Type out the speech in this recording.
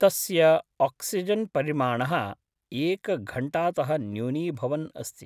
तस्य आक्सिजन् परिमाणः एकघण्टातः न्यूनीभवन् अस्ति।